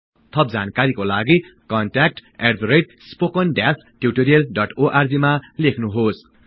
थप जानकारीको लागि contactspoken tutorialorg मा लेख्नुहोस्